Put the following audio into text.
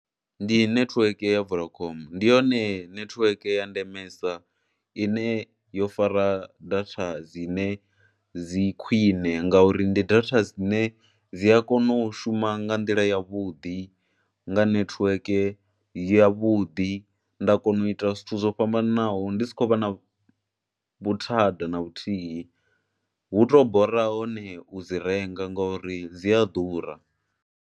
Ndi nethiweke ya Vodacom, ndi hone nethiweke ya ndemesa ine yo fara data dzine dzi khwiṋe ngauri ndi data dzine dzi a kona u shuma nga nḓila yavhuḓi nga nethiweke yavhuḓi. Nda kona u ita zwithu zwo fhambananaho ndi si khou vha na vhuthada na vhuthihi, hu tou bora hone u dzi renga nga uri dzi a ḓura.